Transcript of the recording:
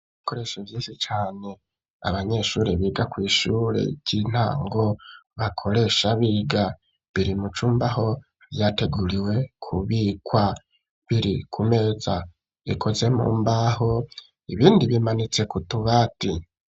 Ibikoresho vyinshi cane, abanyeshure biga kw'ishure ry'intango bakoresha biga. Biri mu cumba aho vyateguriwe kubikwa. Biri ku meza ikoze mu mbaho, ibindi bimanitse ku tubati.